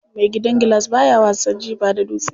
Mai gidan gilas baya wasan jifa da dutse.